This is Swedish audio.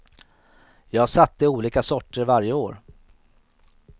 Jag satte olika sorter varje år.